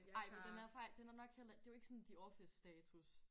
Ej men den er nok heller ikke det jo ikke sådan the office status